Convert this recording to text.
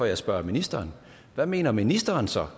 jeg spørger ministeren hvad mener ministeren så